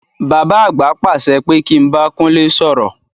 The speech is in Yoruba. Bàbá àgbà pàṣẹ pé kí n bá Kúnlé sọ̀rọ̀.